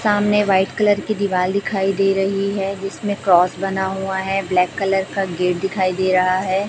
सामने white colour की दिवाल दिखाई दे रही है इसमें क्रॉस बना हुआ है ब्लैक कलर का गेट दिखाई दे रहा है।